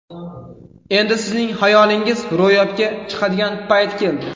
Endi sizning xayolingiz ro‘yobga chiqadigan payt keldi.